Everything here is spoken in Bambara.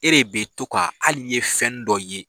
E de bɛ to' ka hali ni ye fɛn nin dɔ ye.